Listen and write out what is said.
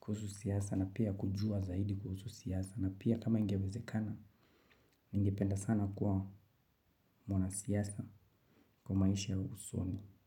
kuhusu siasa na pia kujua zaidi kuhusu siasa. Na pia kama ingewezekana, ningependa sana kuwa mwana siasa kwa maisha ya usoni.